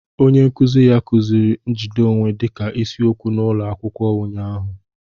Onye nkuzi ya kuziri njide onwe dịka isiokwu n'ụlọ akwụkwọ ụnyahụ